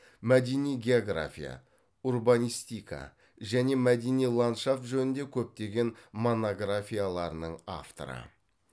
мәдени география урбанистика және мәдени ландшафт жөнінде көптеген монографияларының авторы